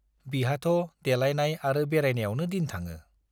बिहाथ' देलाइनाय आरो बेरायनायावनो दिन थाङो।